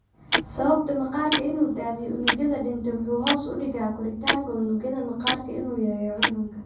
Sababta maqaarku inuu daadiyo unugyada dhintay wuxuu hoos u dhigaa koritaanka unugyada maqaarku inuu yareeyo cuncunka.